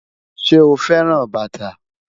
Ṣe o fẹran bata?